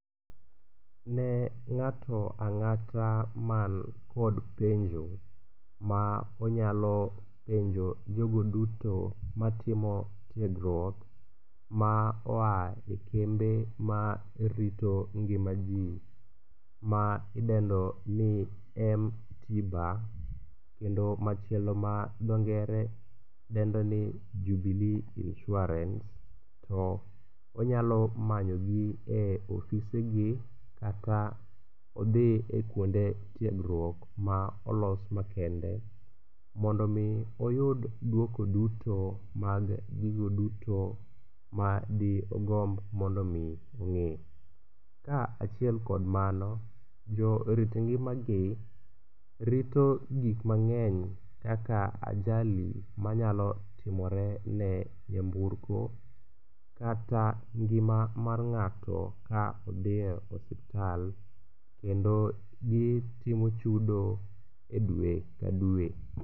Ne ng'ato ang'ata man kod penjo ma onyalo penjo jogo duto matimo tiegruok ma oa e kembe ma rito ngima ji ma idendo ni m-tiba, kendo machielo ma dho ngere dendo ni Jubilee Insurance to inyalo manyogi e ofisegi kata odhi e kuonde tiegruok ma olos makende. Mondo mi oyud duoko duto mag gigo duto ma digomb mondo mi ong'e, kaachiel kod mano, jo rito ngimagi rito gik mang'eny kaka ajali manyalo timore ne nyamburko kata ngima mar ng'ato ka odi e osiptal kendo gitimo chudo e dwe ka dwe